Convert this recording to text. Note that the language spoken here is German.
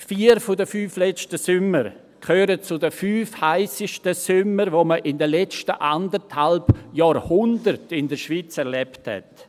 Vier von den fünf letzten Sommern gehören zu den fünf heissesten Sommern, die man in den letzten eineinhalb Jahrhunderten in der Schweiz erlebt hat.